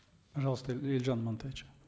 пожалуйста елжан амантаевич